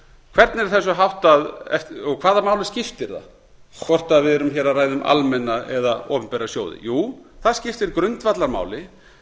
hvernig er þessu háttað og hvaða máli skiptir það hvort við erum hér að ræða um almenna eða opinbera sjóði jú það skiptir grundvallarmáli